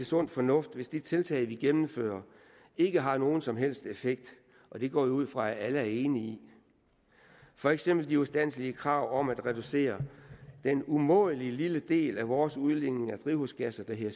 sund fornuft hvis de tiltag vi gennemfører ikke har nogen som helst effekt og det går jeg ud fra at alle er enige i for eksempel de ustandselige krav om at reducere den umådelig lille del af vores udledning af drivhusgasser der hedder